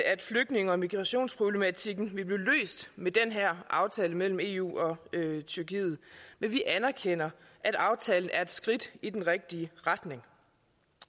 at flygtninge og migrationsproblematikken vil blive løst med den her aftale mellem eu og tyrkiet men vi anerkender at aftalen er et skridt i den rigtige retning